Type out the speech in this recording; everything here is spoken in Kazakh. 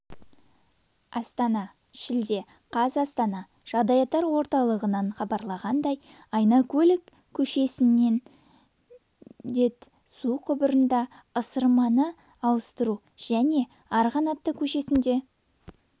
астана шілде қаз астана жағдаяттар орталығынан хабарланғандай айнакөл көшесіндед мм су құбырында ысырманы ауыстыружәне арғанаты көшесінде